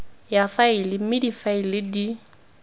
ya faele mme difaele di